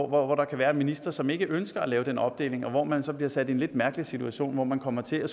hvor der kan være ministre som ikke ønsker at lave den opdeling og hvor man så bliver sat i en lidt mærkelig situation og kommer til at